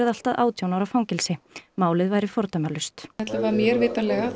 allt að átján ára fangelsi málið væri fordæmalaust allavega af mér vitanlega